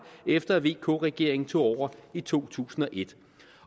efter at vk regeringen tog over i to tusind